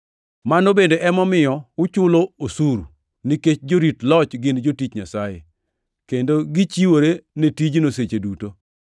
Mano bende emomiyo uchulo osuru, nikech jorit loch gin jotich Nyasaye, kendo gichiwore ne tijno seche duto.